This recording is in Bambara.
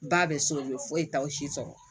Ba bɛ soli foyi t'aw si sɔrɔ